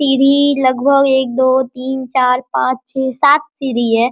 सीढ़ी लगभग एक दो तीन चार पांच छः सात सीढ़ी है।